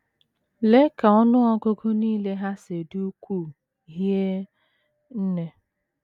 Lee ka ọnụ ọgụgụ nile ha si dị ukwuu hie nne!